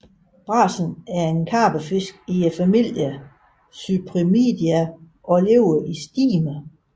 Brasen er en karpefisk i familien Cyprinidae og lever i stimer